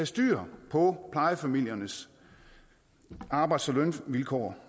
styr på plejefamiliernes arbejds og lønvilkår